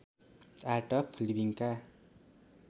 art of लिविङका